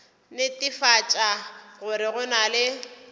netefatša gore go na le